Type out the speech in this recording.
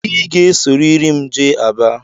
Ị ga-esorịrị m jee Aba!